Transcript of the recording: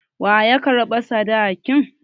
Wa ya karɓa sadakin?